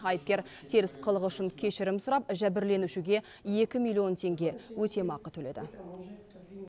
айыпкер теріс қылығы үшін кешірім сұрап жәбірленушіге екі миллион теңге өтемақы төледі